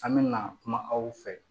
An mɛna kuma aw fɛ